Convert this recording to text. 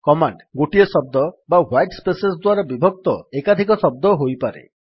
command ଗୋଟିଏ ଶବ୍ଦ ବା ହ୍ୱାଇଟ୍ ସ୍ପେସେସ୍ ଦ୍ୱାରା ବିଭକ୍ତ ଏକାଧିକ ଶବ୍ଦ ହୋଇପାରେ